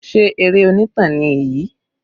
Sé eré onítàn ni èyí?